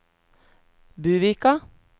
Buvika